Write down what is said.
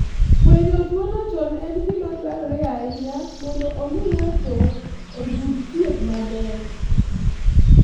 Fwenyo tuwono chon en gima dwarore ahinya mondo omi ng'ato oyud thieth maber.